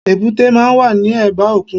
Èbúté máa n wà ní ẹ̀bá òkun